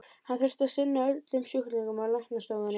Hann þurfti að sinna öllum sjúklingunum á læknastofunni.